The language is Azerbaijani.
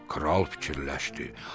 Kral fikirləşdi: